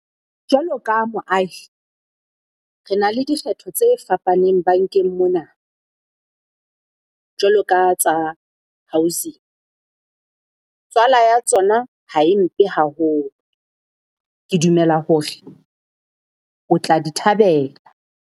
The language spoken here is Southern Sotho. Jwalo ka moahi, re na le dikgetho tse fapaneng bankeng mona jwalo ka tsa housing, tswala ya tsona ha e mpe haholo. Ke dumela hore o tla di thabela.